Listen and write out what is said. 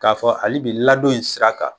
Ka fɔ halibi ladon in sira kan